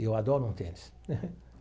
E eu adoro um tênis.